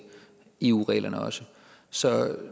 eu reglerne så